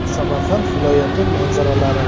Samarqand viloyati manzaralari.